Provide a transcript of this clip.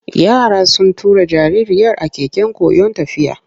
Yara sun tura jaririyar a keken koyon tafiya.